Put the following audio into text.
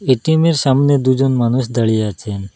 এটিএমের সামনে দুজন মানুষ দাঁড়িয়ে আছেন।